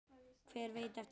Hver veit eftir það?